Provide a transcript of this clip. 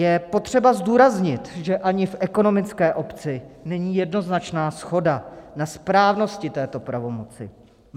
Je potřeba zdůraznit, že ani v ekonomické obci není jednoznačná shoda na správnosti této pravomoci.